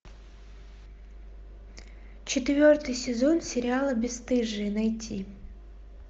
четвертый сезон сериала бесстыжие найти